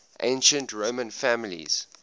ancient roman families